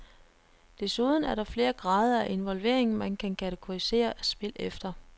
Desuden er der flere grader af involvering, man kan kategorisere spil efter.